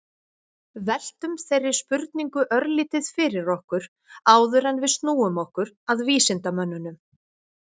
Veltum þeirri spurningu örlítið fyrir okkur áður en við snúum okkur að vísindamönnunum.